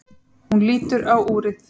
Hún lítur á úrið.